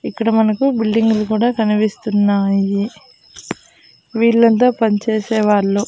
ఇక్కడ మనకు బిల్డింగ్ లు కూడా కనిపిస్తున్నాయి వీళ్ళంతా పనిచేసేవాళ్ళు.